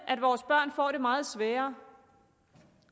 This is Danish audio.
at vores børn får det meget sværere